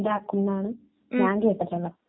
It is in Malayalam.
ഇറച്ചി മുട്ട അങ്ങനെയൊക്കെ കഴിക്കും